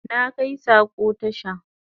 Na kai sako tasha